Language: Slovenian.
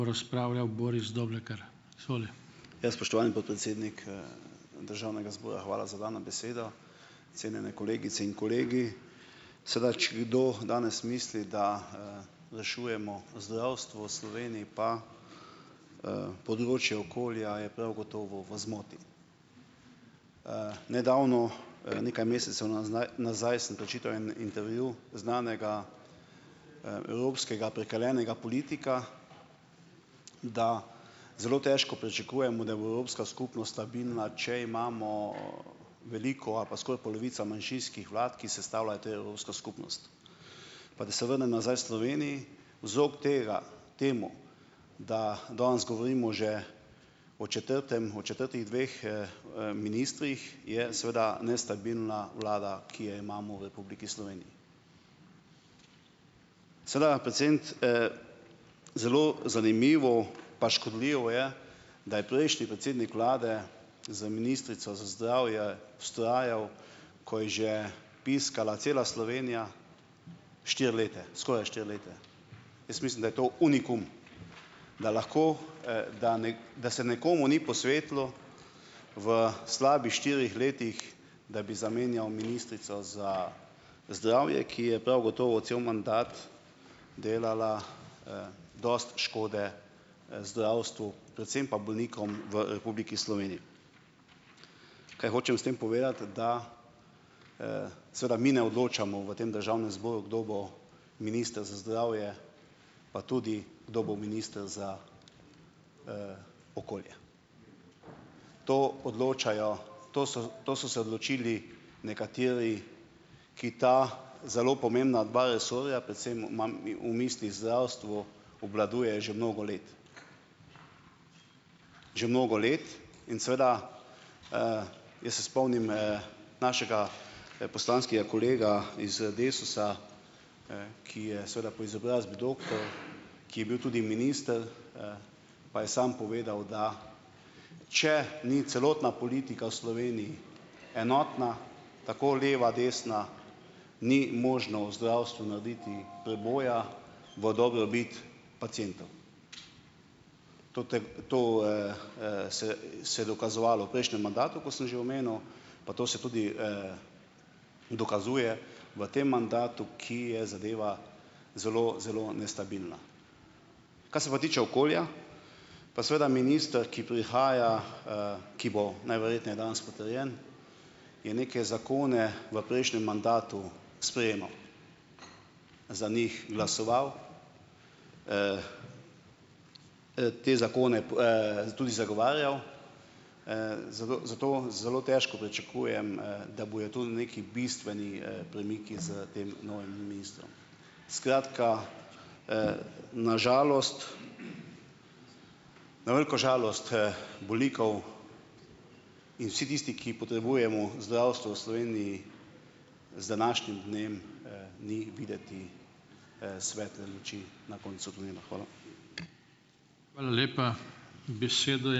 Ja. Spoštovani podpredsednik, državnega zbora, hvala za dano besedo. Cenjene kolegice in kolegi! Seveda. Če kdo danes misli, da, rešujemo zdravstvo v Sloveniji, pa, področje okolja, je prav gotovo v zmoti. Nedavno, nekaj mesecev nazaj sem prečital en intervju znanega, evropskega prekaljenega politika, da zelo težko pričakujemo, da bo evropska skupnost stabilna, če imamo, veliko ali pa skoraj polovica manjšinskih vlad, ki sestavljajo to evropsko skupnost. Pa da se vrnem nazaj v Slovenijo, zop tega temu, da danes govorimo že o četrtem, o četrtih dveh, ministrih, je seveda nestabilna vlada, ki jo imamo v Republiki Sloveniji. Seveda, zelo zanimivo, pa škodljivo je, da je prejšnji predsednik vlade za ministrico za zdravje vztrajal, ko je že piskala cela Slovenija, štiri leta, skoraj štiri leta. Jaz mislim, da je to "unikum", da lahko, da da se nekomu ni posvetilo v slabih štirih letih, da bi zamenjal ministrico za zdravje, ki je prav gotovo cel mandat delala, dosti škode, zdravstvu, predvsem pa bolnikom v Republiki Sloveniji. Kaj hočem s tem povedati? Da, seveda mi ne odločamo, v tem državnem zboru, kdo bo minister za zdravje, pa tudi, kdo bo minister za, okolje. To odločajo, to so to so se odločili nekateri, ki ta zelo pomembna dva resorja, predvsem imam v mislih zdravstvo, obvladujejo že mnogo let, že mnogo let in seveda, jaz se spomnim, našega, poslanskega kolega iz Desusa, ki je seveda po izobrazbi doktor, ki je bil tudi minister, pa je sam povedal, da če ni celotna politika v Sloveniji enotna, tako leva, desna, ni možno v zdravstvu narediti preboja v dobrobit pacientov. To to, se se je dokazovalo v prejšnjem mandatu, kot sem že omenil, pa to se tudi, dokazuje v tem mandatu, ki je zadeva zelo, zelo nestabilna. Kar se pa tiče okolja, pa seveda minister, ki prihaja, ki bo najverjetneje danes potrjen, je neke zakone v prejšnjem mandatu sprejemal, za njih glasoval, te zakone tudi zagovarjal, zato zato bom, zelo težko pričakujem, da bojo tu neki bistveni, premiki s tem novim ministrom. Skratka, na žalost, na veliko žalost, bolnikov in vsi tisti, ki potrebujemo zdravstvo v Sloveniji, z današnjim dnem, ni videti, svetle luči na koncu tunela, hvala.